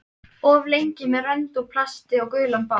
Of lengi með önd úr plasti og gulan bát